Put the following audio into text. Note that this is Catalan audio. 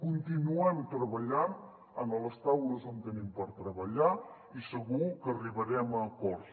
continuem treballant en les taules on tenim per treballar i segur que arribarem a acords